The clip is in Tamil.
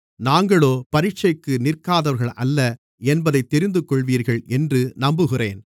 நாங்களோ பரீட்சைக்கு நிற்காதவர்கள் அல்ல என்பதைத் தெரிந்துகொள்வீர்கள் என்று நம்புகிறேன்